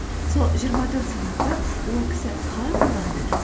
сол жиырма төрт сағатты ол кісі қалай қолданды екен